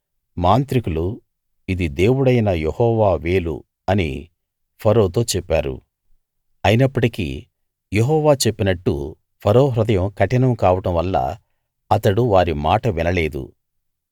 మాంత్రికులు ఇది దేవుడైన యెహోవా వేలు అని ఫరోతో చెప్పారు అయినప్పటికీ యెహోవా చెప్పినట్టు ఫరో హృదయం కఠినం కావడం వల్ల అతడు వారి మాట వినలేదు